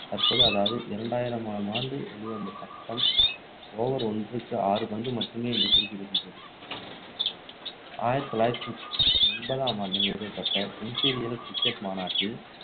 தற்போது, அதாவது இரண்டாயிரமாமாண்டு வெளிவந்த சட்டம் over ஒன்றுக்கு ஆறு பந்து மட்டுமே என்று குறிப்பிடுகிறது ஆயிரத்து தொள்ளாயிரத்து ஒன்பதாம் ஆண்டு நிறுவப்பட்ட இம்பீரியல் cricket மாநாட்டில்